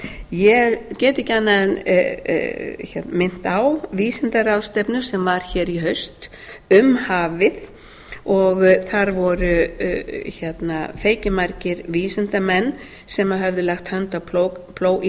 ég get ekki annað en minnt á vísindaráðstefnu sem var hér í haust um hafið og þar voru feikimargir vísindamenn sem höfðu lagt hönd í plóg í